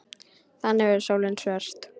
Þannig verður sólin svört.